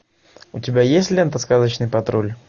у тебя есть лента сказочный патруль